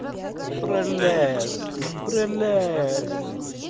прелестно прелестно